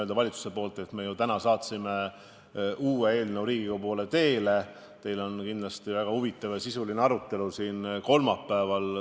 Me saatsime täna Riigikogu poole teele uue eelnõu ja teil tuleb kolmapäeval kindlasti väga huvitav ja sisuline arutelu.